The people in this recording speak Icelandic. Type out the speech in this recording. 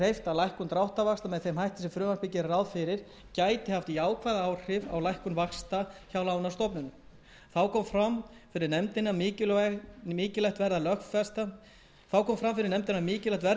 lækkun dráttarvaxta með þeim hætti sem frumvarpið gerir ráð fyrir gæti haft jákvæð áhrif á lækkun vaxta hjá lánastofnunum þá kom fram fyrir nefndinni að mikilvægt verði að teljast að lögfesta